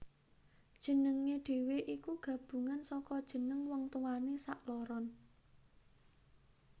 Jenengé dhewe iku gabungan saka jeneng wong tuwané sakloron